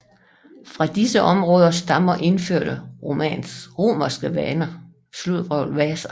Fra disse områder stammer indførte romerske varer